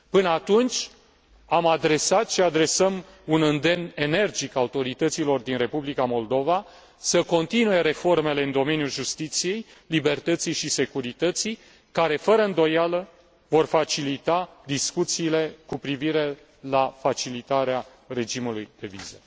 Până atunci, am adresat și adresăm un îndemn energic autorităților din Republica Moldova să continue reformele în domeniul justiției, libertății și securității care, fără îndoială, vor facilita discuțiile cu privire la facilitarea regimului de vize.